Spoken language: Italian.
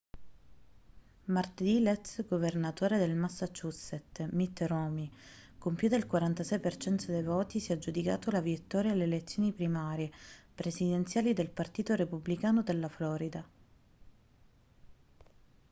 martedì l'ex governatore del massachusetts mitt romney con più del 46% dei voti si è aggiudicato la vittoria alle elezioni primarie presidenziali del partito repubblicano della florida